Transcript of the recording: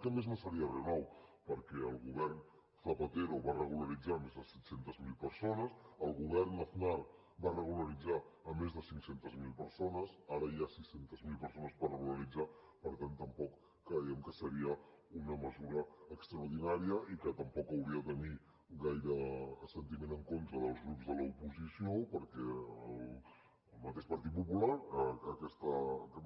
que a més no seria re nou perquè el govern zapatero va regularitzar més de set cents miler persones el govern aznar va regularitzar més de cinc cents miler persones ara hi ha sis cents miler persones per regularitzar per tant tampoc creiem que fos una mesura extraordinària i que tampoc hauria de tenir gaire sentiment en contra dels grups de l’oposició perquè el mateix partit popular aquesta